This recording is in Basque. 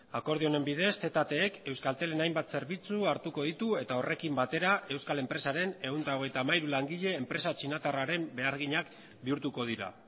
akordio honen bidez ztek euskaltelen hainbat zerbitzu hartuko ditu eta horrekin batera euskal enpresaren ehun eta hogeita hamairu langile enpresa txinatarraren beharginak bihurtuko dira